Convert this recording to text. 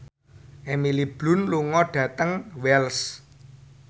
Emily Blunt lunga dhateng Wells